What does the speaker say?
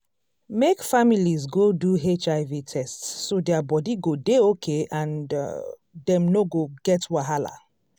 make families go do hiv test so their body go dey okay and um dem no go get wahala